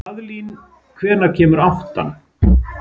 Kaðlín, hvenær kemur áttan?